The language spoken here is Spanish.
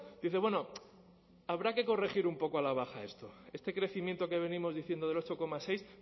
dice bueno habrá que corregir un poco a la baja esto este crecimiento que venimos diciendo del ocho coma seis